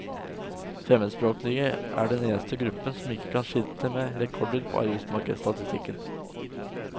Fremmedspråklige er den eneste gruppen som ikke kan skilte med rekorder på arbeidsmarkedsstatistikken.